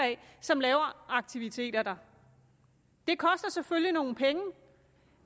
som laver aktiviteter der det koster selvfølgelig nogle penge